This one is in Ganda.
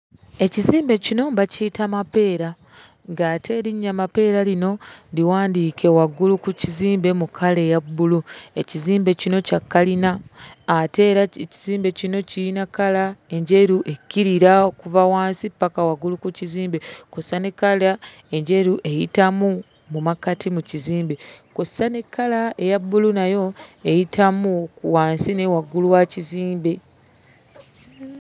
Ekizimbe kino bakiyita Mapeera, ng'ate erinnya Mapeera lino liwandiike waggulu ku kizimbe mu kkala eya bbulu. Ekizimbe kino kya kkalina, ate era ekizimbe kino kirina kkala enjeru ekkirira okuva wansi paka waggulu ku kizimbe kw'ossa ne kkala enjeru, eyitamu mu makkati mu kizimbe. Kw'ossa ne kkala eya bbulu nayo eyitamu wansi ne waggulu wa kizimbe.